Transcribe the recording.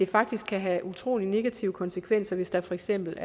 faktisk have utrolig negative konsekvenser hvis der for eksempel